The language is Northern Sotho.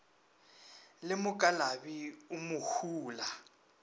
le mokalabi o mo hula